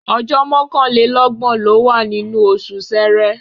Ọjọ́ mọ́kànlélọ́gbọ̀n ló wà nínú oṣù Ṣẹẹrẹ.